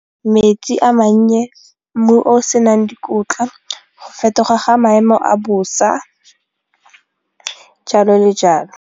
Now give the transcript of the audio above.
Metsi a mannye, mmu o senang dikotla go fetoga ga maemo a bosa, jalo le jalo.